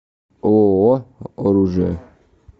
ооо оружие